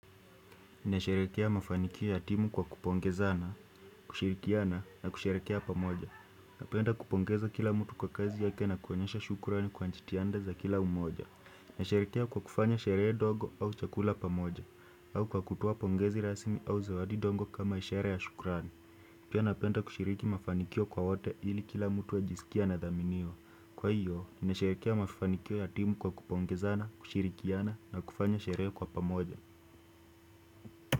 Nasherehekea mafanikio ya timu kwa kupongezana, kushirikiana na kusherehekea pamoja. Napenda kupongeza kila mtu kwa kazi yake na kuonyesha shukrani kwa jitihada za kila mmoja. Nasherehekea kwa kufanya sherehe dogo au chakula pamoja, au kwa kutoa pongezi rasmi au zawadi dogo kama ishara ya shukrani. Pia napenda kushiriki mafanikio kwa wote ili kila mtu ajisikie anadhaminiwa. Kwa hiyo, nasherehekea mafanikio ya timu kwa kupongezana, kushirikiana na kufanya sherehe kwa pamoja.